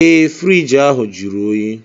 Ee friiji ahụ jụrụ oyi